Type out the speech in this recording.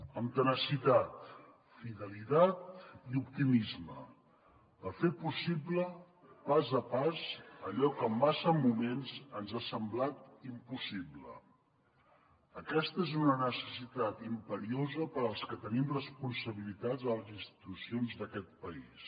amb tenacitat fidelitat i optimisme per fer possible pas a pas allò que en massa moments ens ha semblat impossible aquesta és una necessitat imperiosa per als que tenim responsabilitats a les institucions d’aquest país